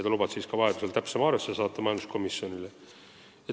Ta lubas majanduskomisjonile saata täpsema arvestuse, kui on soovi.